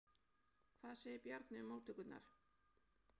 Hvað segir Bjarni um móttökurnar?